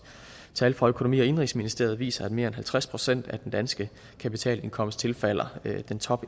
tal fra økonomi og indenrigsministeriet viser at mere end halvtreds procent af den danske kapitalindkomst tilfalder top